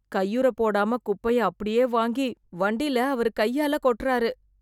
கையுறை போடாம குப்பையா அப்படியே வாங்கி வண்டில அவரு கையால கொட்டாரு.